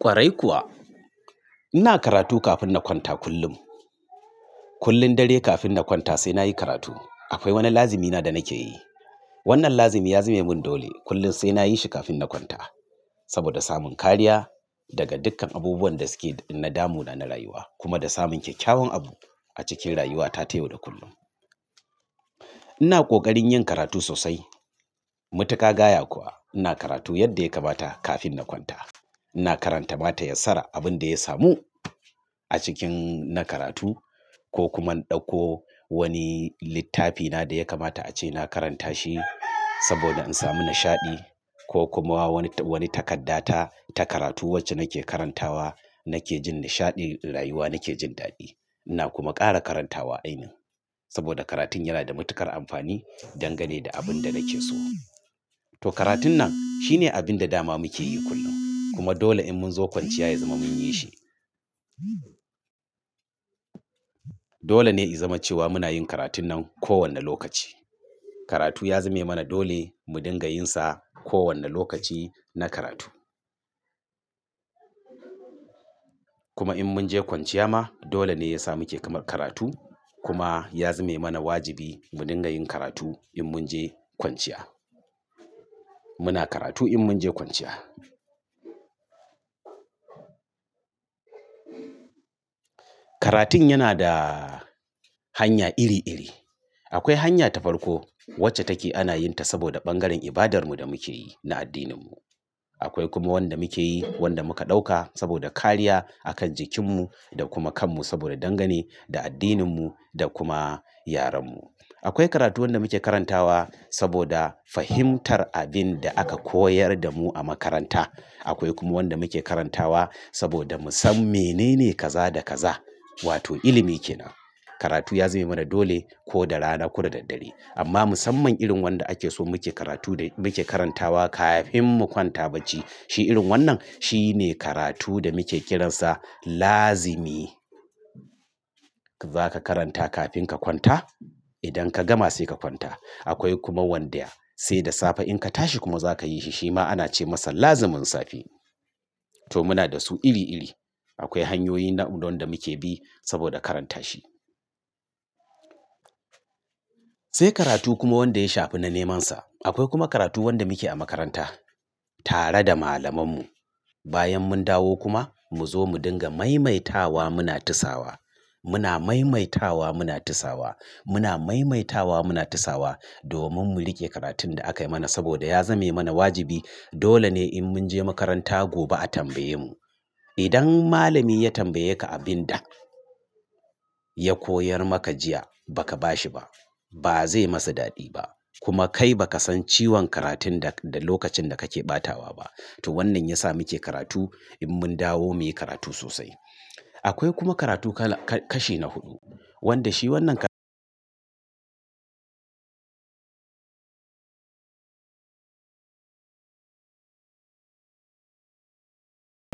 Kwarai kuwa ina karatu kafin na kwanta kullum. Kullum dare kafin na kwanta sai na yi karatu. Akwai wani lazimina da nake yi. Wannan lazimi ya zame mun dole kullum sai na yi shi kafin na kwanta saboda samun kariya daga dukkan abubuwan da suke na damuna na rayuwa kuma da samun kyawawan abu a cikin rayuwata ta yau da kullum. Ina ƙoƙarin yin karatu sosai. Matuƙa gaya kuwa ina karatu yadda ya kamata kafin na kwanta. Ina karanta mata yatsara abin da ya samu a cikin na karatu ko kuma in ɗauko wani littafina da ya kamata a ce na karanta shi saboda in samu nishaɗi ko kuma wani takaddata ta karatu wacce nake karantawa nake jin nishaɗi na rayuwa nake jin daɗi. Ina kuma ƙara karantawa ainin saboda karatun yana da matuƙar amfani dangane da abin da nake so. To karatun nan shine abin da dama muke yi kullum kuma dole in mun zo kwanciya ya zama mun yi shi. Dole ne ya zama cewa muna yin karatun nan kowane lokaci. Karatu ya zame mana dole mu dinga yin sa kowane lokaci na karatu. Kuma in mun je kwanciya ma dole ne ya samu ke kamar karatu kuma ya zame mana wajibi mu dinga yin karatu in mun je kwanciya. Muna karatu in mun je kwanciya. Karatun yana da hanya iri-iri. Akwai hanya ta farko wacce take ana yin ta saboda bangaren ibadarmu da muke yi na addininmu. Akwai kuma wanda muke yi wanda muka ɗauka saboda kariya akan jikinmu da kuma kanmu saboda dangane da addininmu da kuma yarenmu. Akwai karatu wanda muke karantawa saboda fahimtar abin da aka koyar da mu a makaranta. Akwai kuma wanda muke karantawa saboda mu san mene ne kaza da kaza wato ilimi ke nan. Karatu ya zame mana dole ko da rana ko da daddare. Amma musamman irin wanda ake so muke karatu da muke karantawa kafin mu kwanta bacci shi irin wannan shine karatu da muke kiransa lazimi. Za ka karanta kafin ka kwanta idan ka gama sai ka kwanta. Akwai kuma wanda sai da safe in ka tashi kuma za ka yi shi shi ma ana ce masa lazimin safe. To muna da su iri-iri. Akwai hanyoyi namu wanda muke bi saboda karanta shi. Sai karatu kuma wanda ya shafi na nemansa. Akwai kuma karatu wanda muke a makaranta tare da malamanmu. Bayan mun dawo kuma mu zo mu dinga maimaitawa muna tisawa. Muna maimaitawa muna tisawa. Muna maimaitawa muna tisawa domin mu riƙe karatun da aka yi mana saboda ya zame mana wajibi. Dole ne in mun je makaranta gobe a tambaye mu. Idan malami ya tambaye ka abin da ya koyar maka jiya ba ka ba shi ba ba zai masa daɗi ba kuma kai ba ka san ciwon karatun da lokacin da kake batawa ba. To wannan ya sa muke karatu in mun dawo muyi karatu sosai. Akwai kuma karatu kashi na huɗu wanda shi wannan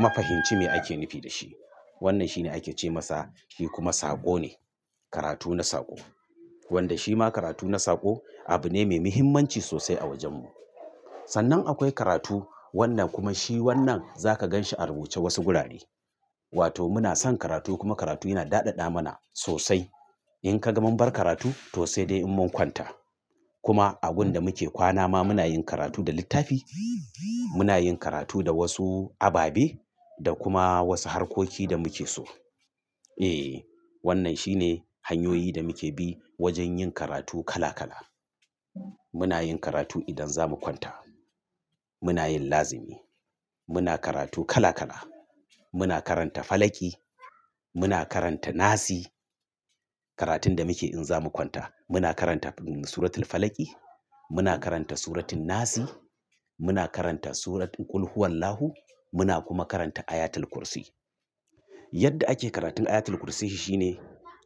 mafahimci me ake nufi da shi. Wannan shine ake ce masa shi kuma saƙo ne. Karatu na saƙo. Wanda shi ma karatu na saƙo abu ne mai muhimmanci sosai a wajenmu. Sannan akwai karatu wanda kuma shi wannan za ka gan shi a rubuce wasu gurare. Wato muna son karatu kuma karatu yana daɗaɗa mana sosai. In ka gama bar karatu to sai dai in mun kwanta. Kuma abun da muke kwana ma muna yin karatu da littafi muna yin karatu da wasu ababe da kuma wasu harkoki da muke so. Eh wannan shine hanyoyi da muke bi wajen yin karatu kala-kala. Muna yin karatu idan za mu kwanta. Muna yin lazimi. Muna karatu kala-kala. Muna karanta Falaki. Muna karanta Nasi. Karatun da muke in za mu kwanta muna karanta Suratul Falaki. Muna karanta Suratin Nasi. Muna karanta Suratul Ƙulhuwallahu Muna kuma karanta Ayatul Kursi. Yadda ake karatun Ayatul Kursi shi shine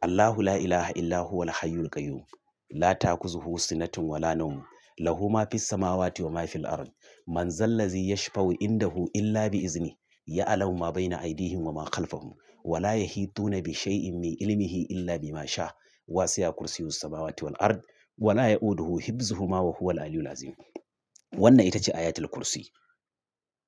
"Allahu la ilaha illa huwal hayyul qayyum. La takuzu hu sinatun wa la nawmun. Lahuma fis samawati wa ma fil ard. Man zallazi yashfa'u indahu illa bi'iznihi. Ya'lamu ma bayna aydihim wa ma khalfahum. Wa la yahituna bi shayin min ilmihi illa bi ma sha'. Wa siya kursiyyu samawati wal ard. Wa la ya'uduhu hifzuhuma wa huwal aliyu laziim". Wannan ita ce Ayatul Kursi.